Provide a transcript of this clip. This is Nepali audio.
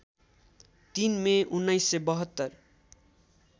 ३ मे १९७२